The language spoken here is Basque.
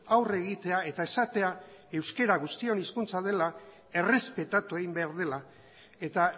aurre egitea eta esatea euskara guztion hezkuntza dela errespetatu egin behar dela eta